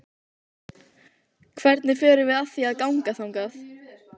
Hvernig förum við að því að ganga þangað?